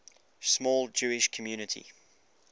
small jewish community